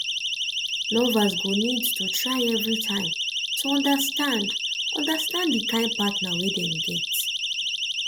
lovers go need to try everytime to understand understand di kind partner wey dem get